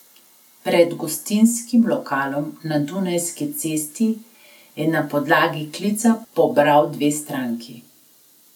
Pred gostinskim lokalom na Dunajski cesti je na podlagi klica pobral dve stranki.